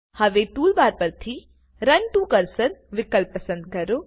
હવે ટુલબાર પરથી run to cursor વિકલ્પ પસંદ કરો